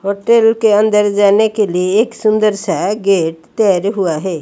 Hotel के अंदर जाने के लिए एक सुंदर सा गेट तैयार हुआ है।